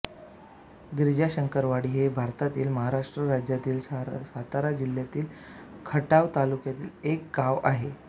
गिरीजाशंकरवाडी हे भारतातील महाराष्ट्र राज्यातील सातारा जिल्ह्यातील खटाव तालुक्यातील एक गाव आहे